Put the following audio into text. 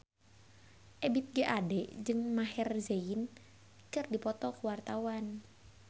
Ebith G. Ade jeung Maher Zein keur dipoto ku wartawan